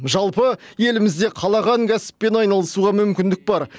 жалпы елімізде қалаған кәсіппен айналысуға мүмкіндік бар